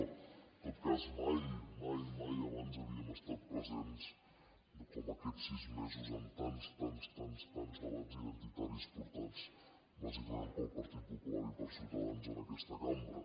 en tot cas mai mai abans havíem estat presents com aquests sis mesos en tants tants tants tants debats identitaris portats bàsicament pel partit popular i per ciutadans en aquesta cambra